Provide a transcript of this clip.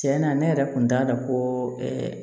Tiɲɛna ne yɛrɛ kun t'a dɔn ko